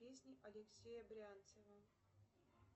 песни алексея брянцева